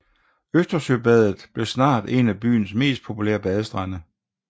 Østersøbadet blev snart en af byens mest populære badestrande